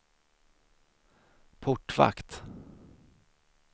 portvakt